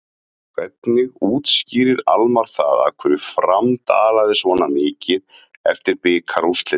Hvernig útskýrir Almarr það af hverju Fram dalaði svona mikið eftir bikarúrslitin?